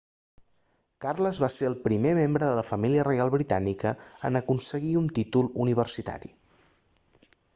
carles va ser el primer membre de la família reial britànica en aconseguir un títol universitari